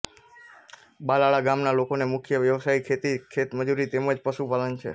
બલાળા ગામના લોકોનો મુખ્ય વ્યવસાય ખેતી ખેતમજૂરી તેમ જ પશુપાલન છે